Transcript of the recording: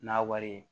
N'a wari ye